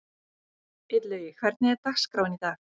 Illugi, hvernig er dagskráin í dag?